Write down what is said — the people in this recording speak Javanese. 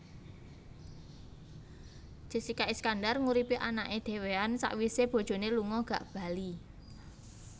Jessica Iskandar nguripi anake dewean sakwise bojone lunga gak bali